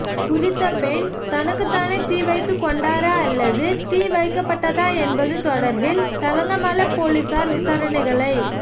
குறித்த பெண் தனக்குத்தானே தீ வைத்துக் கொண்டாரா அல்லது தீ வைக்கப்பட்டதா என்பது தொடர்பில் தலங்கம பொலிஸார் விசாரணைகளை